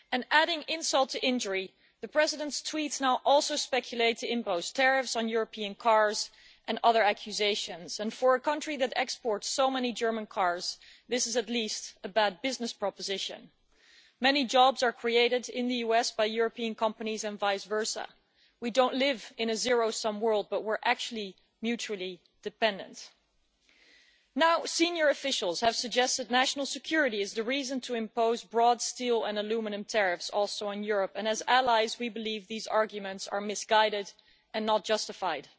Adding insult to injury, the President's tweets now also speculate about imposing tariffs on European cars and other accusations. For a country that exports so many German cars, this is at least a bad business proposition. Many jobs are created in the US by European companies and vice versa. We don't live in a zero sum world but we are actually mutually dependent. Senior officials have suggested national security is the reason to impose broad steel and aluminium tariffs also in Europe, and as allies we believe these arguments are misguided and not justified.